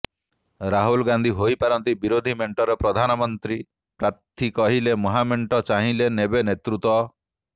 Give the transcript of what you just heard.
ରାହୁଲ ଗାନ୍ଧୀ ହୋଇପାରନ୍ତି ବିରୋଧୀ ମେଂଟର ପ୍ରଧାନମନ୍ତ୍ରୀ ପ୍ରାର୍ଥୀ କହିଲେ ମହାମେଂଟ ଚାହିଁଲେ ନେବେ ନେତୃତ୍ୱ